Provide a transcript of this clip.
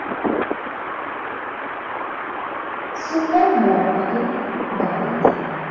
super মার্কেটের গাড়িতে